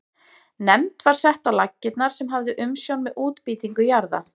Nefnd var sett á laggirnar sem hafði umsjón með útbýtingu jarða.